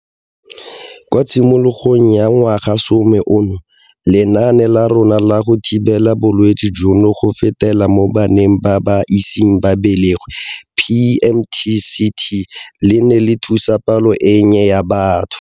Kwa tshimologong ya ngwagasome ono, lenaane la rona la go thibela bolwetse jono go fetela mo baneng ba ba iseng ba belegwe PMTCT le ne le thusa palo e nnye ya batho.